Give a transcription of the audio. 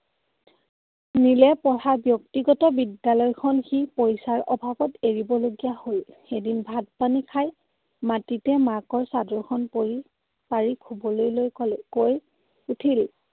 নীলে পঢ়া ব্যক্তিগত বিদ্যালয়খন সি পইছাৰ অভাৱত এৰিবলগীয়া হ'ল। এদিন ভাত পানী খাই মাটিতে মাকৰ চাদৰ খন পৰি পাৰি শুবলৈ লৈ কলে কৈ উঠিল